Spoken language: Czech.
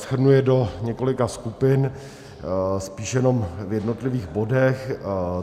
Shrnu je do několika skupin, spíš jenom v jednotlivých bodech.